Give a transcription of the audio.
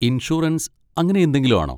Insurance അങ്ങനെയെന്തെങ്കിലും ആണോ?